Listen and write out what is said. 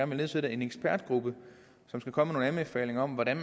vil nedsætte en ekspertgruppe som skal komme med nogle anbefalinger om hvordan